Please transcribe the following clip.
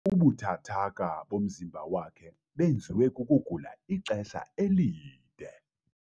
Ubuthathaka bomzimba wakhe benziwe kukugula ixesha elide.